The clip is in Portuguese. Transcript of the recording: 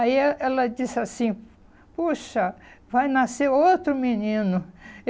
Aí eh ela disse assim, puxa, vai nascer outro menino.